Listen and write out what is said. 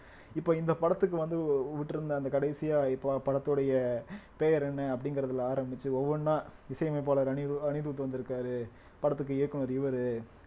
இப்ப இந்த படத்துக்கு வந்து வு~ விட்டிருந்த அந்த கடைசியா இப்ப படத்துடைய பெயர் என்ன அப்படிங்கறதுல ஆரம்பிச்சு ஒவ்வொண்ணா இசையமைப்பாளர் அனிரு~ அனிருத் வந்திருக்காரு படத்துக்கு இயக்குனர் இவரு